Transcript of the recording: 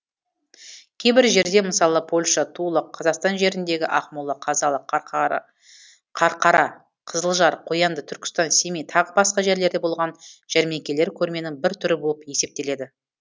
кейбір жерде мысалы польша тула қазақстан жеріндегі ақмола қазалы қарқара қызылжар қоянды түркістан семей тағы басқа жерлерде болған жәрмеңкелер көрменің бір түрі болып есептеледі